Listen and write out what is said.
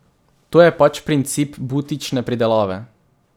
To je pač princip butične pridelave.